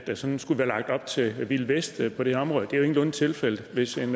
der sådan skulle være lagt op til wild west på det her område det er jo ingenlunde tilfældet hvis en